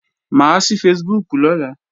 Mà á ṣí Facebook lọ́la